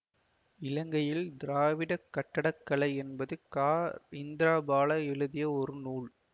இலங்கையில் திராவிடக் கட்டடக்கலை என்பது கா இந்திராபாலா எழுதிய ஒரு நூல்